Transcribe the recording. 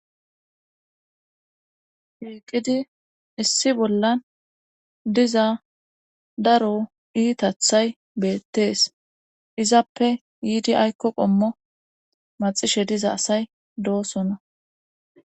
SHiiqidi issi bollan diza daro iitathay beettees izappe yiidi aykko qommo maxishe diza asay doosona